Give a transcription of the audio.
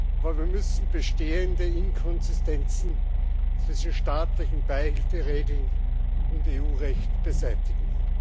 aber wir müssen bestehende Inkonsistenzen zwischen staatlichen Beihilferegeln und EU Recht beseitigen.